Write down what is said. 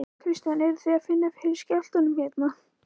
Kristján: Eruð þið að finna fyrir skjálftum hérna?